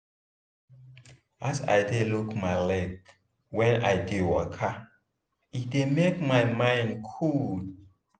as i dey look my leg whem i dey waka e dey make my mind coole.